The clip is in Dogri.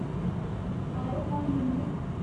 Biocon limited